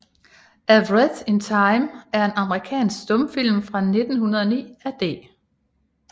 A Wreath in Time er en amerikansk stumfilm fra 1909 af D